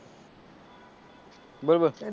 બોલ બોલ